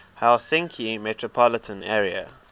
helsinki metropolitan area